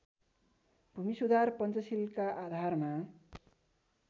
भूमिसुधार पञ्चशीलका आधारमा